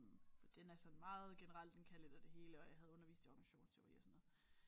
For den er sådan meget generel den kan lidt af det hele og jeg havde undervist i organisationsteori og sådan noget